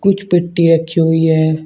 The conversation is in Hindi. कुछ पट्टी रखी हुई है।